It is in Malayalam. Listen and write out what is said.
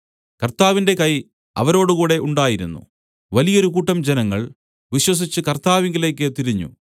കർത്താവിന്റെ കൈ അവരോടുകൂടെ ഉണ്ടായിരുന്നു വലിയൊരു കൂട്ടം ജനങ്ങൾ വിശ്വസിച്ചു കർത്താവിങ്കലേക്ക് തിരിഞ്ഞു